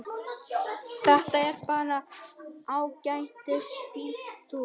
Þetta er bara ágætis bíltúr.